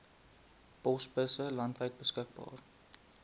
posbusse landwyd beskikbaar